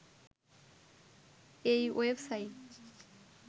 এই ওয়েবসাইট